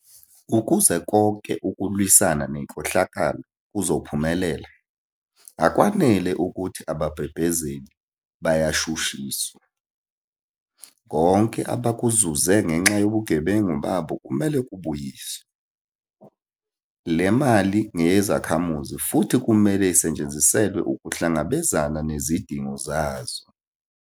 Ukuze konke ukulwisana nenkohlakalo kuzophumelela, akwanele ukuthi ababhebhezeli bayashu shiswa. Konke abakuzuze ngenxa yobugebengu babo kumele kubuyiswe. Le mali ngeyezakhamuzi futhi kumele isetshenziselwe ukuhlangabezana nezidingo zazo.